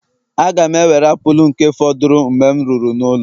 Aga m ewere apụl nke fọdụrụ Mgbe m ruru n'ụlọ